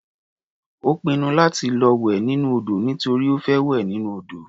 Ó pinnu láti lọ wẹ̀ nínú odò nítorí ó fẹ́ wẹ̀ nínú odò.